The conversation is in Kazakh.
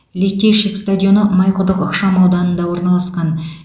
литейщик стадионы майқұдық ықшамауданында орналасқан